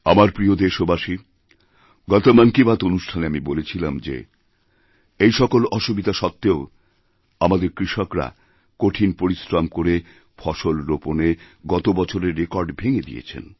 আমার প্রিয় দেশবাসী গত মন কী বাত অনুষ্ঠানে আমি বলেছিলাম যে এই সকলঅসুবিধা সত্ত্বেও আমাদের কৃষকরা কঠিন পরিশ্রম করে ফসল রোপনে গত বছরের রেকর্ড ভেঙেদিয়েছেন